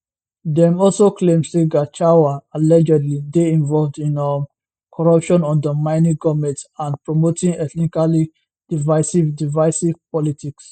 dem also claim say gachahua allegedly dey involved in um corruption undermining goment and promoting ethnically divisive divisive politics